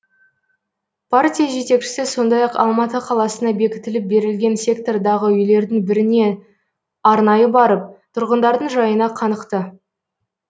партия жетекшісі сондай ақ алматы қаласына бекітіліп берілген сектордағы үйлердің біріне арнайы барып тұрғындардың жайына қанықты